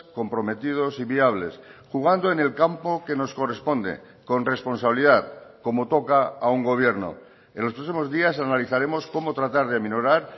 comprometidos y viables jugando en el campo que nos corresponde con responsabilidad como toca a un gobierno en los próximos días analizaremos cómo tratar de minorar